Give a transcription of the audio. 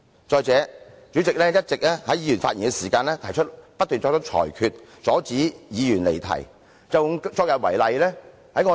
再者，主席在議員發言期間會不斷作出裁決，阻止議員離題。